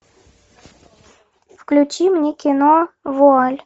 включи мне кино вуаль